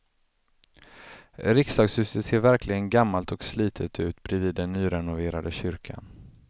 Riksdagshuset ser verkligen gammalt och slitet ut bredvid den nyrenoverade kyrkan.